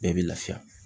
Bɛɛ bɛ lafiya